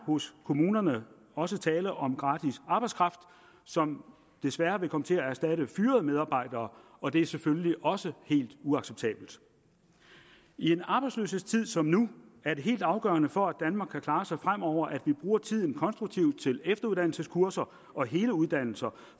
hos kommunerne også tale om gratis arbejdskraft som desværre vil komme til at erstatte fyrede medarbejdere og det er selvfølgelig også helt uacceptabelt i en arbejdsløshedstid som nu er det helt afgørende for at danmark kan klare sig fremover at vi bruger tiden konstruktivt til efteruddannelseskurser og hele uddannelser